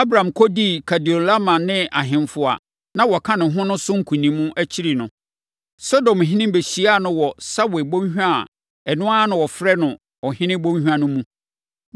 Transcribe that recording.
Abram kɔdii Kedorlaomer ne ahemfo a na wɔka ne ho no so nkonim akyiri no, Sodomhene bɛhyiaa no wɔ Sawe bɔnhwa a ɛno ara na wɔfrɛ no Ɔhene Bɔnhwa no mu.